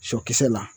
Sɔkisɛ la